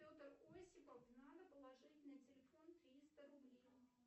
петр осипов надо положить на телефон триста рублей